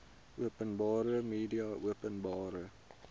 openbare media openbare